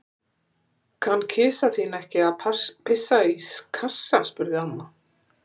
Kann kisa þín ekki að pissa í kassa? spurði amma.